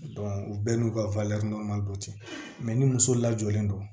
u bɛɛ n'u ka don ten ni muso lajɔlen don